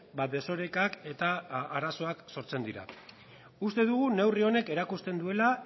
ba desorekak eta arazoak sortzen dira uste dugu neurri honek erakusten duela